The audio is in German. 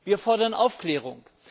Wir fordern Aufklärung.